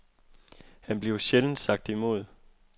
Han bliver sjældent sagt imod.